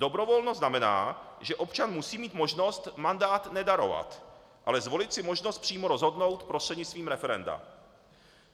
Dobrovolnost znamená, že občan musí mít možnost mandát nedarovat, ale zvolit si možnost přímo rozhodnout prostřednictvím referenda.